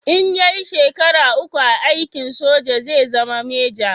In ya yi shekara uku a aikin soja zai zama meja